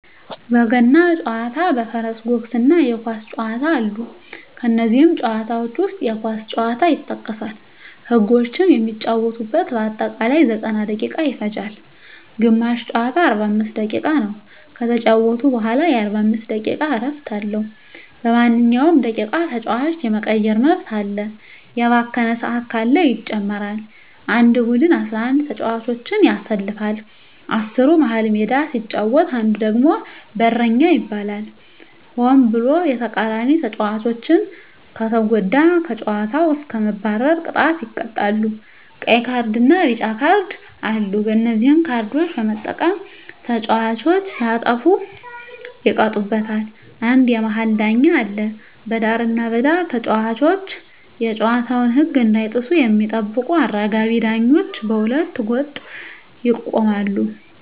በገና ጨዋታ በፈረስ ጉግስ እና የኳስ ጨዋታ አሉ ከነዚህም ጨዋታዎች ዉስጥ የኳስ ጨዋታ ይጠቀሳል ህጎችም የሚጫወቱበት በአጠቃላይ 90ደቂቃ ይፈጃል ግማሽ ጨዋታ 45 ደቂቃ ነዉ ከተጫወቱ በኋላ የ15 ደቂቃ እረፍት አለዉ በማንኛዉም ደቂቃ ተጫዋች የመቀየር መብት አለ የባከነ ሰአት ካለ ይጨመራል አንድ ቡድን 11ተጫዋቾችን ያሰልፋል አስሩ መሀል ሜዳ ሲጫወት አንዱ ደግሞ በረኛ ይባላል ሆን ብሎ የተቃራኒተጫዋቾችን ከተጎዳ ከጨዋታዉ እስከ መባረር ቅጣት ይቀጣሉ ቀይ ካርድና ቢጫ ካርድ አሉ በነዚህ ካርዶች በመጠቀም ተጫዋቾች ሲያጠፉ ይቀጡበታል አንድ የመሀል ዳኛ አለ በዳርና በዳር ተጫዋቾች የጨዋታዉን ህግ እንዳይጥሱ የሚጠብቁ አራጋቢ ዳኞች በሁለት ገጥ ይቆማሉ